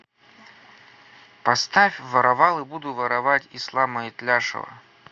поставь воровал и буду воровать ислама итляшева